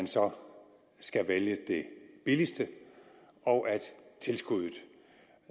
så skal vælge det billigste og at tilskuddet